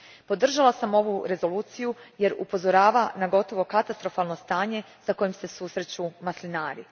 Podržala sam ovu rezoluciju jer upozorava na gotovo katastrofalno stanje s kojim se susreću maslinari.